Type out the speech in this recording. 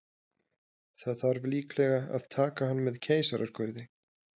Það þarf líklega að taka hann með keisaraskurði.